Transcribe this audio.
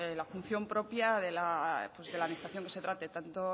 la función propia de la administración que se trate tanto